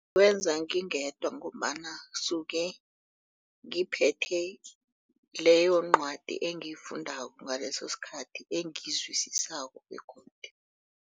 Ngiwenza ngingedwa ngombana ngisuke ngiphethe leyo ncwadi engiyikufundako ngaleso sikhathi engiyizwisisako begodu